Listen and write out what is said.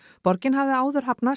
borgin hafði áður hafnað